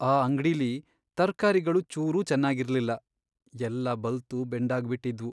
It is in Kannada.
ಆ ಅಂಗ್ಡಿಲಿ ತರ್ಕಾರಿಗಳು ಚೂರೂ ಚೆನಾಗಿರ್ಲಿಲ್ಲ, ಎಲ್ಲ ಬಲ್ತು ಬೆಂಡಾಗ್ಬಿಟಿದ್ವು.